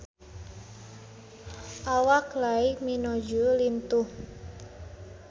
Awak Kylie Minogue lintuh